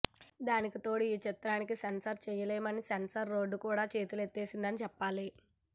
దానికి తోడు ఈ చిత్రానికి సెన్సార్ చేయలేమని సెన్సార్ బోర్డు కూడా చేతులెత్తేసింది చెప్పాలి